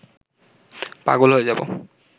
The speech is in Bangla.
পাগল হয়ে যাব